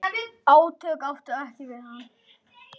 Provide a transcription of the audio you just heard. Átök áttu ekki við hann.